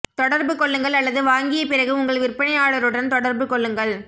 தொடர்பு கொள்ளுங்கள் அல்லது வாங்கிய பிறகு உங்கள் விற்பனையாளருடன் தொடர்பு கொள்ளுங்கள்